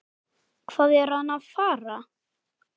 Hvað er hann að fara?